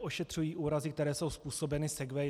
ošetřují úrazy, které jsou způsobeny segwayi.